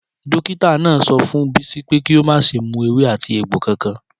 Dókítà náà sọ fún Bisi pé kí o má ṣe mú ewé ati egbo kankan.